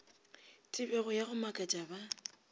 tebego ya go makatša ba